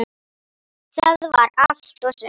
Það var allt og sumt!